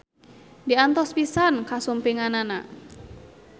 Diantos pisan kasumpinganana.